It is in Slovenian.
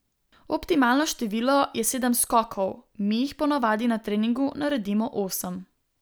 Optimalno število je sedem skokov, mi jih po navadi na treningu naredimo osem.